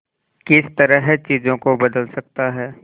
किस तरह चीजों को बदल सकता है